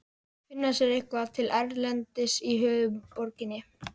Finna sér eitthvað til erindis í höfuðborginni?